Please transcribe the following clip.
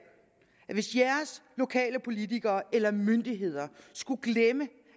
at hvis de lokale politikere eller myndigheder skulle glemme